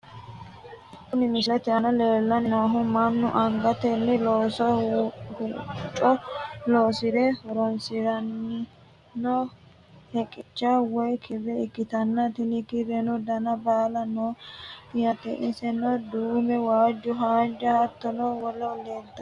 Kuni misilete aana leellanni noohu mannu angatenni loosanno hoccu loosira horonsiranno heqicha woyi kirre ikkitana, tini kirreno dana baala no yaate insano duume, waajjo, haanja, hattono wole leeltann.